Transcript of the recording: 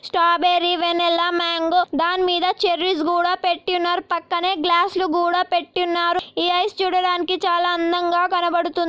చేశారు. Strawberry vanilla mango దానిమీద cherries గుడా పెట్టి ఉన్నారు. పక్కనే గ్యాస్ లు కూడా పెట్టి ఉన్నారు. ఈ ఐస్ చూడడానికి చాలా అందంగా